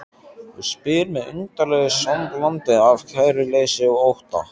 Og spyr með undarlegu samblandi af kæruleysi og ótta